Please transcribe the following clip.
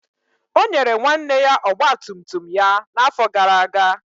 O nyere nwanne ya ọgba tum tum ya n'afọ gara aga.